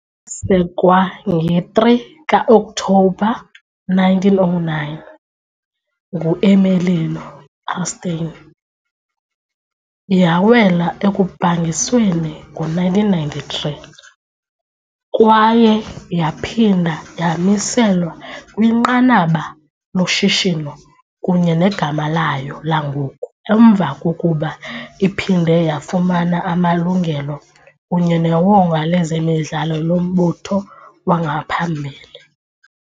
sekwa nge-3 ka-Okthobha ngo-1909 ngu -Emilio Arnstein, yawela ekubhangisweni ngo-1993 kwaye yaphinda yamiselwa kwinqanaba loshishino kunye negama layo langoku emva kokuba iphinde yafumana amalungelo kunye newonga lezemidlalo lombutho wangaphambili.